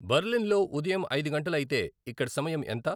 బర్లిన్లో ఉదయం ఐదు గంటలు అయితే ఇక్కడ సమయం ఎంత